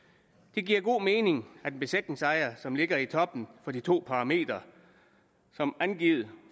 det giver god mening at besætningsejere som ligger i toppen med de to parametre som angivet